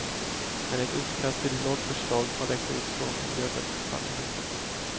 Men ett utkast till lagförslag har läckt ut från miljödepartementet.